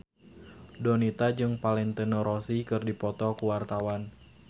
Donita jeung Valentino Rossi keur dipoto ku wartawan